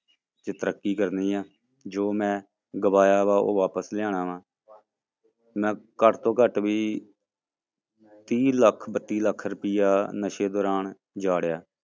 ਚ ਤਰੱਕੀ ਕਰਨੀ ਹੈ ਜੋ ਮੈਂ ਗਵਾਇਆ ਵਾ ਉਹ ਵਾਪਸ ਲਿਆਉਣਾ ਵਾਂ ਮੈਂ ਘੱਟ ਤੋਂ ਘੱਟ ਵੀ ਤੀਹ ਲੱਖ ਬੱਤੀ ਲੱਖ ਰੁਪਇਆ ਨਸ਼ੇ ਦੌਰਾਨ ਉਜਾੜਿਆ।